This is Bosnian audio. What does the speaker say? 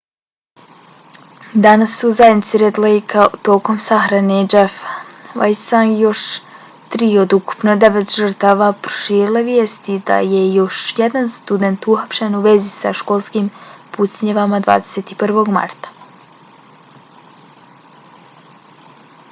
danas su se u zajednici red lejka tokom sahrane jeffa weisea i još tri od ukupno devet žrtava proširile vijesti da je još jedan student uhapšen u vezi sa školskim pucnjavama 21. marta